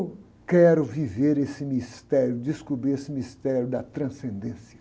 Quero viver esse mistério, descobrir esse mistério da transcendência.